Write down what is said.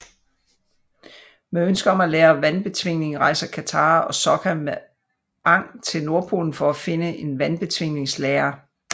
Med ønske om at lære vandbetvingning rejser Katara og Sokka med Aang til Nordpolen for at finde en Vandbetvingningslære